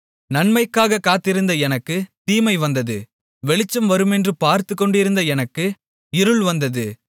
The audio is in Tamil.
நன்மைக்காகக் காத்திருந்த எனக்குத் தீமை வந்தது வெளிச்சம் வருமென்று பார்த்துக்கொண்டிருந்த எனக்கு இருள் வந்தது